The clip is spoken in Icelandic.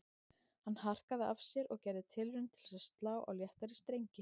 Hann harkaði af sér og gerði tilraun til að slá á léttari strengi